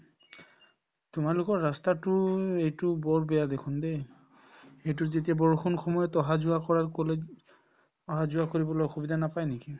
তোমালোকৰ ৰাস্তাতো এইটো বহুত বেয়া দেখুন দে এইটো যেতিয়া বৰষুণ সময়ত অহা-যোৱা কৰা সকলে অহা-যোৱা কৰিবলৈ অসুবিধা নাপাই নেকি